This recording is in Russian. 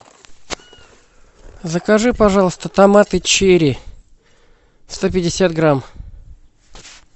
закажи пожалуйста томаты черри сто пятьдесят грамм